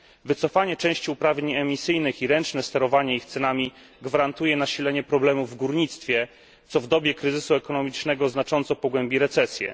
Wycofanie części uprawnień emisyjnych i ręczne sterowanie ich cenami gwarantuje nasilenie problemów w górnictwie, co w dobie kryzysu ekonomicznego znacząco pogłębi recesję.